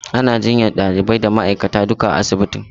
Ana jinyar ɗalibai da ma'aikata duka a asibitin.